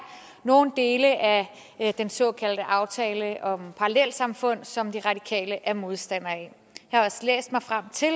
nogle dele af den såkaldte aftale om parallelsamfund som de radikale er modstandere af jeg har også læst mig frem til at